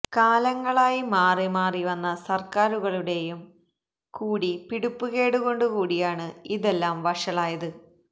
കാലങ്ങളായി മാറിമാറി വന്ന സര്ക്കാരുകളുടേയും കൂടി പിടിപ്പുകേടുകൊണ്ടു കൂടിയാണ് ഇതെല്ലാം വഷളായത്